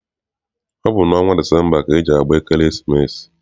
Ọ bụ n'ọnwa Disemba ka eji agba ekeresimesi.